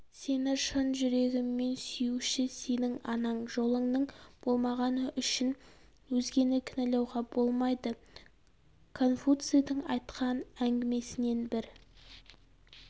сені шын жүрегімен сүюші сенің анаң жолыңның болмағаны үшін өзгені кінәлауға болмайды конфуцийдің айтқан әңгімесінен бір